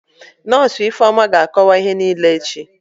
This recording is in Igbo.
Nọsụ Ifeoma ga-akọwa ihe niile echi